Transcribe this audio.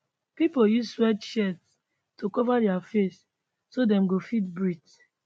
pipo use sweatshirts to cover dia faces so dem go fit breathe